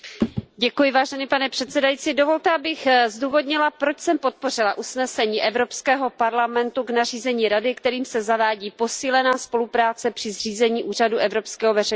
Pane předsedající, dovolte, abych zdůvodnila, proč jsem podpořila usnesení Evropského parlamentu k nařízení Rady, kterým se zavádí posílená spolupráce při zřízení Úřadu evropského veřejného žalobce.